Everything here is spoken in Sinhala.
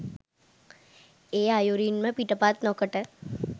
ඒ අයුරින්ම පිටපත් නොකොට